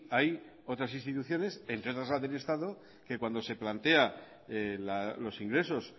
hay otras instituciones entre otras la del estado que cuando se plantea los ingresos